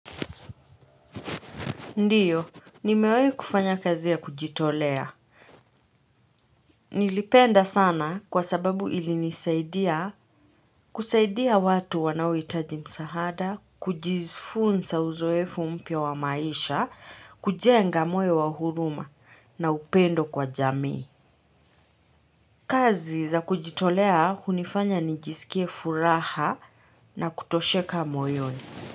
Ndiyo. Nimewai kufanya kazi ya kujitolea. Nilipenda sana kwa sababu ilinisaidia kusaidia watu wanaohitaji msaada, kujifunza uzoefu mpya wa maisha, kujenga moyo wa huruma na upendo kwa jamii. Kazi za kujitolea hunifanya nijisikie furaha na kutosheka moyoni.